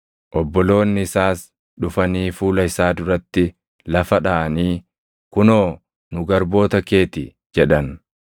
Obboloonni isaas dhufanii fuula isaa duratti lafa dhaʼanii, “Kunoo nu garboota kee ti” jedhan.